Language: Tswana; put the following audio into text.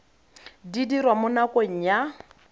di dirwa mo nakong ya